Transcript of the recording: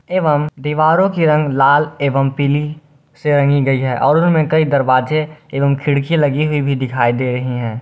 एवं दीवारों के रंग लाल एवं पीली से रंगी गई है और उनमें कई दरवाजे एवं खिड़की लगी हुई भी दिखाई दे रही है।